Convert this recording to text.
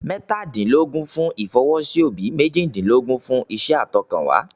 Mẹ́tàdínlógún fún ìfọwọ́sí òbí, méjìdínlógún fún iṣẹ́ àtọkànwá.